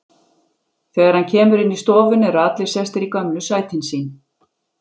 Þegar hann kemur inn í stofuna eru allir sestir í gömlu sætin sín.